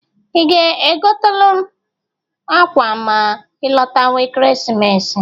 I ga-egotalụ m akwa ma ịlọtawa Ekeresimesi?